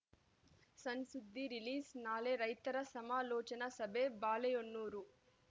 ಸಣ್‌ ಸುದ್ದಿ ರಿಲೀಸ್‌ನಾಳೆ ರೈತರ ಸಮಾಲೋಚನಾ ಸಭೆ ಬಾಳೆಹೊನ್ನೂರು